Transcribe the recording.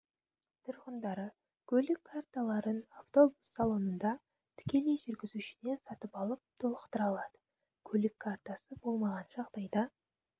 тұрғындары көлік карталарын автобус салонында тікелей жүргізушіден сатып алып толықтыра алады көлік картасы болмаған жағдайда